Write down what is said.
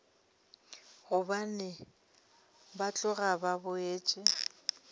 gobane ba tloga ba boletše